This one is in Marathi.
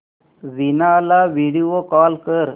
वीणा ला व्हिडिओ कॉल कर